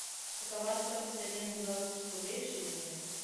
какова стоимость обмена белорусских рублей в шиллинги